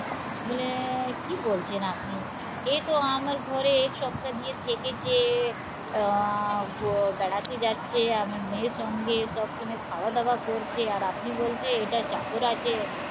মানে কি বলছেন আপনি? এতো আমার ঘরে এক সপ্তা দিয়ে থেকেছে আহ বাড়াতে যাচ্ছে আমার মেয়ের সঙ্গে সব সময় খাওয়া দাওয়া করছে আর আপনি বলছেন এটা চাকর আছে